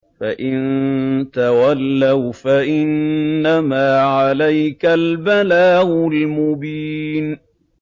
فَإِن تَوَلَّوْا فَإِنَّمَا عَلَيْكَ الْبَلَاغُ الْمُبِينُ